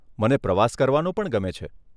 મને પ્રવાસ કરવાનો પણ ગમે છે.